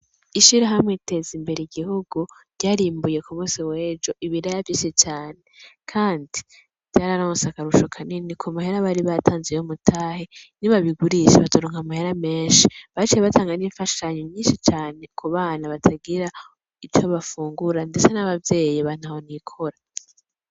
Ishirahamwe teza imbere igihugu ryarimbuye kumusi w'ejo ibiraya vyinshi cane kandi vyararonse akarusho kanini kumahera bari batanze y'umutahe ni babigurisha bazoronka amahera menshi baciye batanga n'imfashanyo nyinshi cane kubana batagira ivyo bafungura ndetse n'abavyeyi ba ntaho nikora